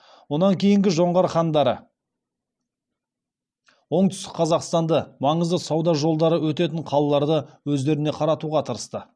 онан кейінгі жоңғар хандары оңтүстік қазақстанды маңызды сауда жолдары өтетін қалаларды өздеріне қаратуға тырысты